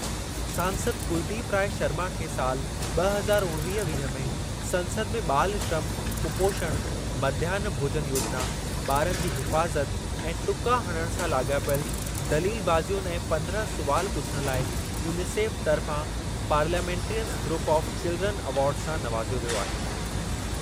सांसद कुलदीप राय शर्मा खे सालि ॿ हज़ार उणिवीह वीह में संसद में ॿाल श्रम, कुपोषण, मध्याह्न भोजन योजिना, ॿारनि जी हिफ़ाज़त ऐं टुका हणण सां लाॻापियल दलीलबाज़ियुनि ऐं पंद्रहं सुवालु पुछण लाइ यूनिसेफ तर्फ़ा parliamentarians group of children award सां नवाज़ियो वियो आहे।